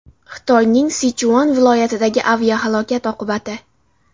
Xitoyning Sichuan viloyatidagi aviahalokat oqibati.